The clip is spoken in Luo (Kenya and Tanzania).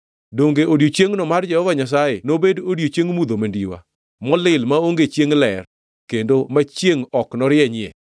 Donge odiechiengno mar Jehova Nyasaye nobed odiechieng mudho mandiwa, molil maonge chiengʼ ler, kendo ma chiengʼ ok norienyie?